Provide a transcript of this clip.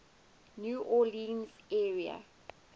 new orleans area